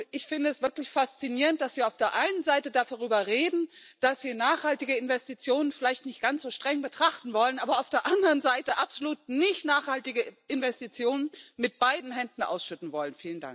Ich finde es wirklich faszinierend, dass wir auf der einen Seite darüber reden, dass wir nachhaltige Investitionen vielleicht nicht ganz so streng betrachten wollen, aber auf der anderen Seite absolut nicht nachhaltige Investitionen mit beiden Händen ausschütten wollen.